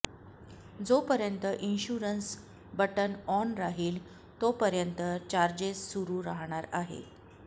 जोपर्यंत insurance button on राहील तोपर्यंत चार्जेस सुरु राहणार आहे